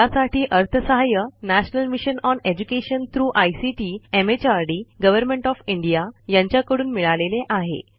यासाठी अर्थसहाय्य national mission on education through ICT MHRD government of India यांच्याकडून मिळालेले आहे